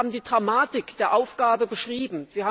Sie selbst haben die Dramatik der Aufgabe beschrieben.